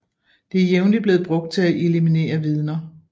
Det er jævnligt blevet brugt til at eliminere vidner